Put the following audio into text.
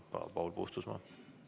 Palun, Paul Puustusmaa!